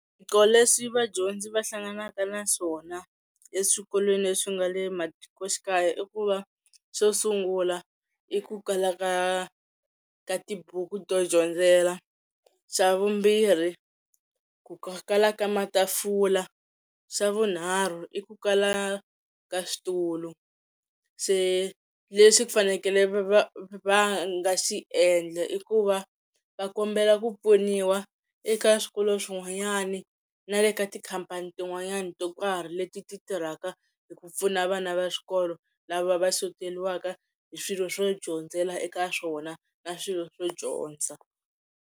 Swiphiqo leswi vadyondzi va hlanganaka na swona eswikolweni leswi nga le matikoxikaya i ku va xo sungula i ku kala ka ka tibuku to dyondzela, xa vumbirhi ku kala ka matafula xa vunharhu i ku kala ka switulu se leswi ku fanekele va va nga xi endla i ku va va kombela ku pfuniwa eka swikolo swin'wanyani na le ka tikhampani tin'wanyani to karhi leti ti tirhaka hi ku pfuna vana va swikolo lava va xoteriwaka hi swilo swo dyondzela eka swona na swilo swo dyondza.